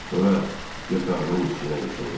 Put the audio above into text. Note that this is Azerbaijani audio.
Sonra yatağının üstünə yıxıldı.